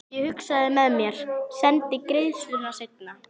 Ég hugsaði með mér: Sendi greiðsluna seinna.